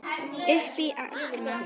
Upp til agna.